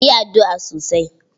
Ki yi addu'a sosai.